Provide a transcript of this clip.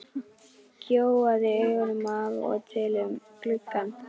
Gjóaði augunum af og til út um gluggann.